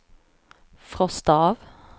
frosta av